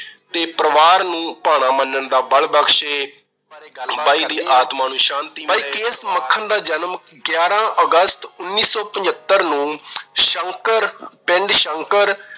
ਤੇ ਪਰਿਵਾਰ ਨੂੰ ਭਾਣਾ ਮੰਨਣ ਦਾ ਬਲ ਬਖਸ਼ੇ। ਬਾਈ ਦੀ ਆਤਮਾ ਨੂੰ ਸ਼ਾਂਤੀ ਨੂੰ ਮਿਲੇ। ਬਾਈ ਕੇ. ਐਸ. ਮੱਖਣ ਦਾ ਜਨਮ ਗਿਆਰਾ ਅਗਸਤ ਉਨੀ ਸੌ ਪਚੱਤਰ ਨੂੰ ਸ਼ੰਕਰ ਪਿੰਡ ਸ਼ੰਕਰ